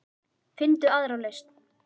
Finndu aðra lausn.